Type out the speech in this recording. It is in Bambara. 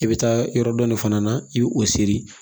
I bɛ taa yɔrɔ dɔ de fana na i bɛ o seri